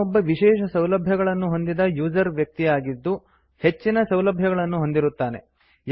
ಅವನು ಒಬ್ಬ ವಿಶೇಷ ಸೌಲಭ್ಯಗಳನ್ನು ಹೊಂದಿದ ಯೂಸರ್ ವ್ಯಕ್ತಿ ಆಗಿದ್ಧು ಹೆಚ್ಚಿನ ಸೌಲಭ್ಯಗಳನ್ನು ಹೊಂದಿರುತ್ತಾನೆ